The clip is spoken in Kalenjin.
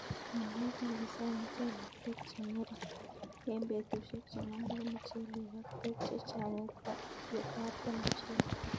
Magat ipise muchelek peek che ng'ering' eng petushek che mengech muchelek ak peek chechang' ye tapton muchelek